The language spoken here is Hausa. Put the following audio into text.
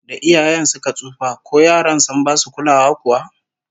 Da iyayen suka tsufa, ko yaran sun basu kulawa kuwa?